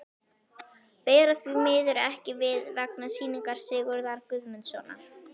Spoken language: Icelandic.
Bera því miður ekki við, vegna sýningar Sigurðar Guðmundssonar.